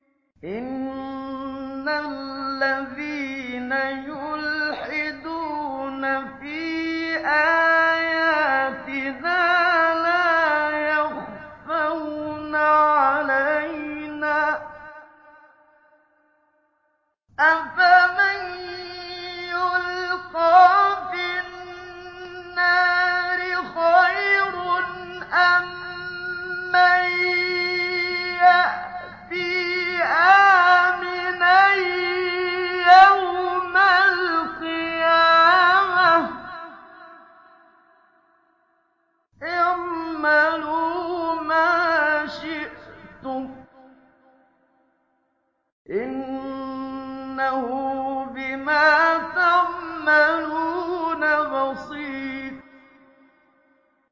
إِنَّ الَّذِينَ يُلْحِدُونَ فِي آيَاتِنَا لَا يَخْفَوْنَ عَلَيْنَا ۗ أَفَمَن يُلْقَىٰ فِي النَّارِ خَيْرٌ أَم مَّن يَأْتِي آمِنًا يَوْمَ الْقِيَامَةِ ۚ اعْمَلُوا مَا شِئْتُمْ ۖ إِنَّهُ بِمَا تَعْمَلُونَ بَصِيرٌ